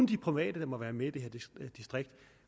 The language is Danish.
de private der må være med i det her distrikt at